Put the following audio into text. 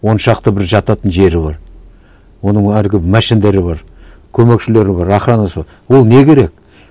он шақты бір жататын жері бар оның әлгі бар көмекшілері бар охранасы бар ол не керек